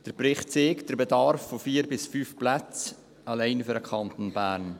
Der Bericht zeigt den Bedarf von 4 bis 5 Plätzen allein für den Kanton Bern.